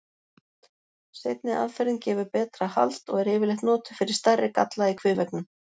Seinni aðferðin gefur betra hald og er yfirleitt notuð fyrir stærri galla í kviðveggnum.